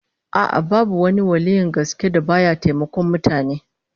A'a, babu wani waliyyin gaske da ba ya taimakon mutane